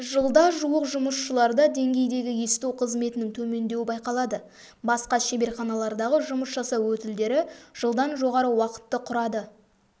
жылда жуық жұмысшыларда деңгейдегі есту қызметінің төмендеуі байқалады басқа шеберханалардағы жұмыс жасау өтілдері жылдан жоғары уақытты құрады